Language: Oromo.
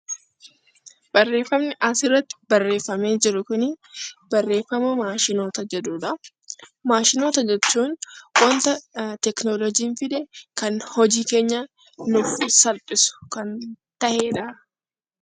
Barreeffamni asirratti barreeffamee jiru Kun, barreeffamootaa maashinoota jedhudha. Maashinoota jechuun waanta teekinooloojiin fide kan hojii keenya nuuf salphisuuf ta'edha.